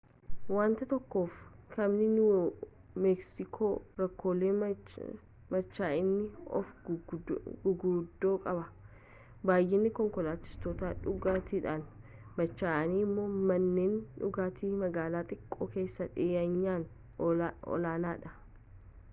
waanta tokkoof kaabni niiwu meeksikoo rakkoolee machaa'anii oofuu guguddoo qaba baay'inni konkolaachistoota dhugaatiidhaan machaa'anii immoo manneen dhugaatii magaalaa xiqqoo keessatti dhiyeenyaan olaanaadha